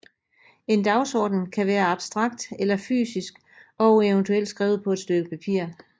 En dagsorden kan være abstrakt eller fysisk og eventuelt skrevet på et stykke papir